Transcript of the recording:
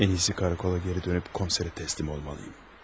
Ən iyisi karakola geri dönüb komserə təslim olmalıyım.